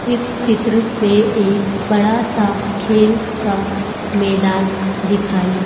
इस चित्र में एक बड़ा सा खेल का मैदान दिखाई--